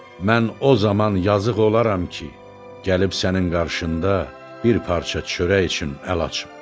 Mən o zaman yazıq olaram ki, gəlib sənin qarşında bir parça çörək üçün əl açım.